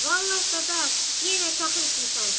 Vallah Dadaş, yenə çaxır içmisən sən.